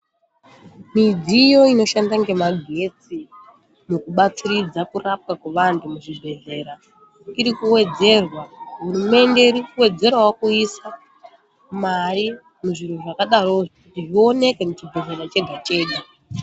Midziyo inoshanda ngemagetsi mukubatiridza kurapwa kwevantu muzvibhedhlera irikuwedzerwa. Hurumende irikuwedzerawo kuisa mari muzvintu zvakadaro kuti zviwoneke muchibhedhlera chega chega.